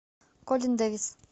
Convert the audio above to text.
колин дэвис